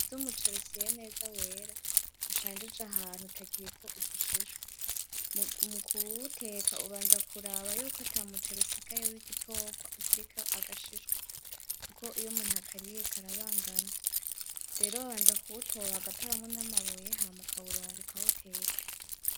Intete z'umuceri usyeye neza wera ushanjije ahantu utakiriko udushishwa mukuwuteka ubanza kuraba yuko atamuceri usigaye w'igitogwa ukiriko agashishwa kuko iyo umuntu akariye karabangamye rero babanza kuwutora bagatoramwo n'amabuye hama ukawuronga ukawuteka.